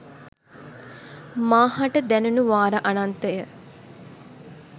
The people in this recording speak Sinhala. මා හට දැනුණු වාර අනන්තය.